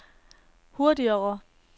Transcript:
hurtigere